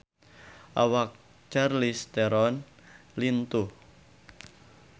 Awak Charlize Theron lintuh